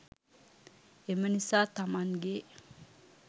එම නිසා, තමන්ගේ